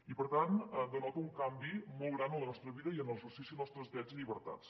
i per tant denota un canvi molt gran en la nostra vida i en l’exercici nostres drets i llibertats